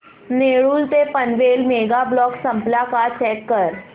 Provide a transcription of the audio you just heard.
नेरूळ ते Panvel mega block संपला का चेक कर